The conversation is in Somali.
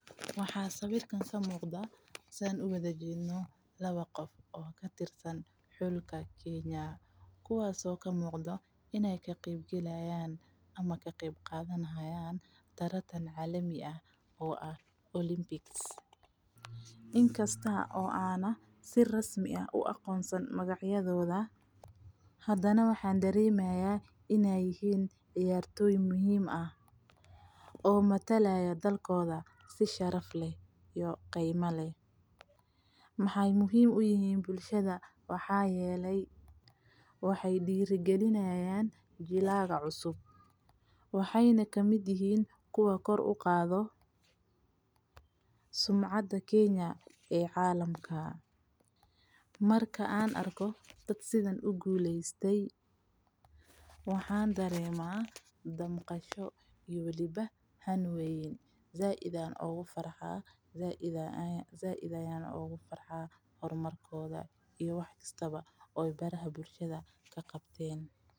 Waxa sawirka kamugda saan u wada jedno, lawa gof oo katirsan xulka kenya, kuwas oo kamuqdo inay kaqebqalayan ama kaqebqadanixayan taratan calami ah, oo ah Olympics, inkasta oo aanah si rasmi ah uagonsanin magacyadoda, xadana waxan daremaya inay yihiin ciyartoy muxiim ah, oo matalayo dalkoda si sharaf leh iyo qiima leh, maxay muxiim uyixin bulshada waxa yelay waxay diragalinayan jilaga cusub, waxayna kamid yixiin kuwa kor uqado sumcada kenya ee calamka, marka an arko dad sidhan ugulestee waxan darema damqasho iyo waliba xaan weyn, zaid ayan ogufarha, hormarkoda iyo wax kastaba aya baraha bulshada kagabteen.